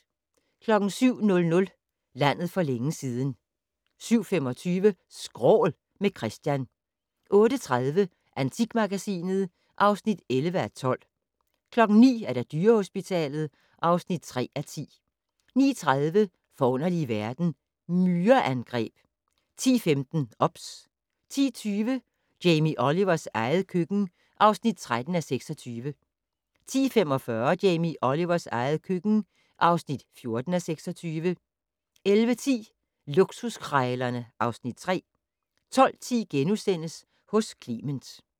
07:00: Landet for længe siden 07:25: Skrål - med Christian 08:30: Antikmagasinet (11:12) 09:00: Dyrehospitalet (3:10) 09:30: Forunderlige verden - Myreangreb 10:15: OBS 10:20: Jamie Olivers eget køkken (13:26) 10:45: Jamie Olivers eget køkken (14:26) 11:10: Luksuskrejlerne (Afs. 3) 12:10: Hos Clement *